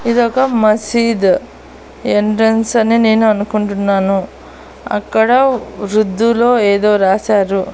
ఇదొక మసీదు ఎంట్రెన్స్ అని నేను అనుకుంటున్నాను అక్కడ వృద్ధులో ఏదో రాశారు.